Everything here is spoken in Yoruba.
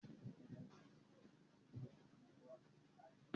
Báyọ̀ fẹ́ lọ gbẹ́ góòlù